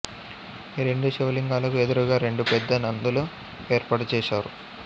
ఈ రెండు శివలింగాలకు ఎదురుగా రెందు పెద్ద నందులు ఏర్పాటు చేశారు